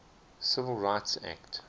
civil rights act